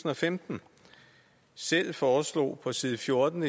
og femten selv foreslog på side 14